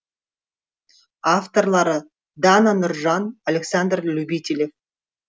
авторлары дана нұржан александр любителев